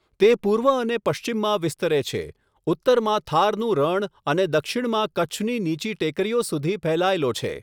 તે પૂર્વ અને પશ્ચિમમાં વિસ્તરે છે, ઉત્તરમાં થારનું રણ અને દક્ષિણમાં કચ્છની નીચી ટેકરીઓ સુધી ફેલાયેલો છે.